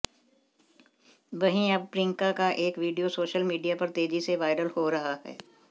वहीं अब प्रियंका का एक वीडियो सोशल मीडिया पर तेजी से वायरल हो रहा है